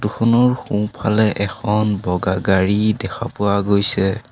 খনৰ সোঁ ফালে এখন বগা গাড়ী দেখা পোৱা গৈছে।